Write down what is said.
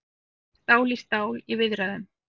Stál í stál í viðræðum